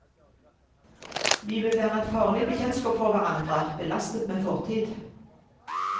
Vi vil være et farlig bekjentskap for hverandre, belastet med fortid.